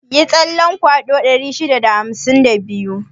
Yi tsalle kwado 652.